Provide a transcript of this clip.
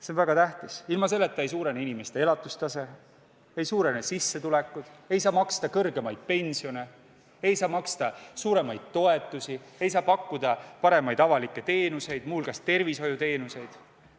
See on väga tähtis, sest ilma selleta ei parane inimeste elatustase, ei kasva sissetulekud, ei saa maksta suuremaid pensione, ei saa maksta suuremaid toetusi, ei saa pakkuda paremaid avalikke teenuseid, mh tervishoiuteenuseid.